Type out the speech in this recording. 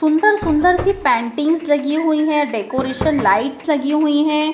सुंदर सुंदर सी पैंटिंग्स लगी हुई है डेकोरेशन लाइट्स लगी हुई है।